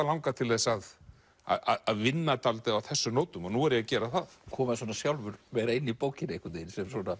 langað til þess að að vinna dálítið á þessum nótum og nú er ég að gera það koma svona sjálfur vera inni í bókinni einhvern veginn